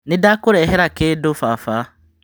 Nĩndakũrehera kĩndũ baba.